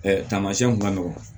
tamasiɛnw kun ka nɔgɔn